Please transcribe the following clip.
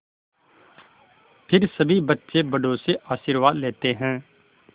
फिर सभी बच्चे बड़ों से आशीर्वाद लेते हैं